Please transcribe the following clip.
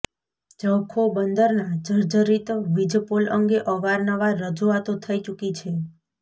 જખૌ બંદરના જર્જરિત વીજપોલ અંગે અવારનવાર રજૂઆતો થઈ ચૂકી છે